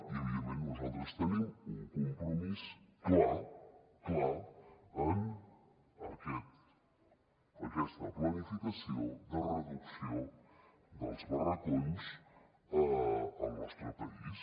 i evidentment nosaltres tenim un compromís clar clar en aquest aquesta planificació de reducció dels barracons al nostre país